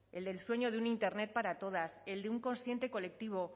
el del sueño de un internet para todas el de un consciente colectivo